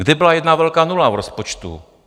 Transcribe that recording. Kde byla jedna velká nula v rozpočtu?